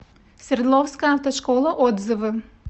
свердловская автошкола отзывы